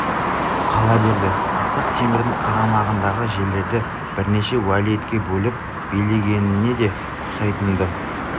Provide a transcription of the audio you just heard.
қала берді ақсақ темірдің қарамағындағы жерлерді бірнеше уәлиетке бөліп билегеніне де ұқсайтын-ды